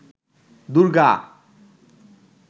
Durga